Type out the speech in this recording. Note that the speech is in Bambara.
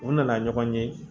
U nana ɲɔgɔn ye